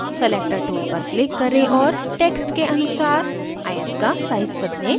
selector tool पर click करें और text के अनुसार आयत का size बदलें